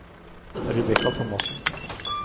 Rebekka Thomassen